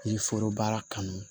Yiri foro baara kanu